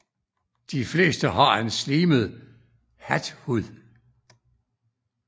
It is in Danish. De fleste har en slimet hathud